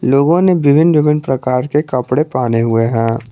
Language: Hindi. लोगों ने विभिन्न विभिन्न प्रकार के कपड़े पहने हुए हैं।